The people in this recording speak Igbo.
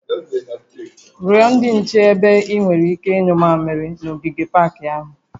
Rịọ ndị nche ebe ị nwere ike ịnyụ mmamịrị n'ogige pak ahụ